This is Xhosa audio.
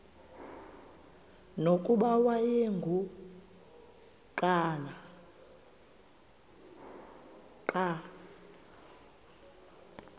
nokuba wayengu nqal